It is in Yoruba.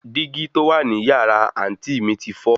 Dígí tó wà ní yàrá àǹtí mi ti fọ́